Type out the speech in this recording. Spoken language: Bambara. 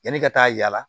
Yanni ka taa yala